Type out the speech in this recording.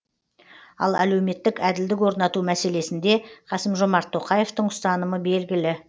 ал әлеуметтік әділдік орнату мәселесінде қасым жомарт тоқаевтың ұстанымы белгілі